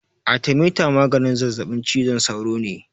Arthermeter maganin zazaɓin cizon sauro ne.